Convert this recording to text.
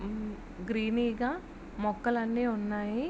ఆ గ్రీని గా మొక్కలు అన్ని ఉన్నాయి.